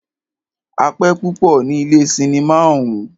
A pẹ́ púpọ ní ilé cinimá ọ̀ún.